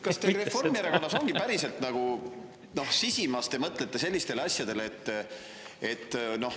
Kas teie Reformierakonnas sisimas päriselt mõtlete sellistele asjadele?